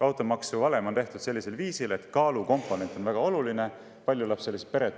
Automaksuvalem on tehtud sellisel viisil, et kaalukomponent selles väga olulise osa.